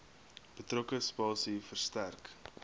betrokke spasie verstrek